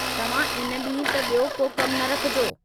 तव्हां इन ॾींहं ते बि॒यो को कम न रखिजो।